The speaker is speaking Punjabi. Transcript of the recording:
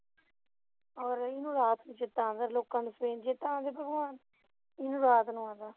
ਹੋਰ ਇਹਨੂੰ ਰਾਤ ਨੂੰ ਚੇਤਾ ਆਉਂਦਾ ਹੈ ਲੋਕਾਂ ਨੂੰ ਸਵੇਰ ਨੂੰ ਚੇਤਾ ਆਉਂਦਾ ਹੈ ਭਗਵਾਨ ਇਹਨੂੰ ਰਾਤ ਨੂੰ ਆਉਂਦਾ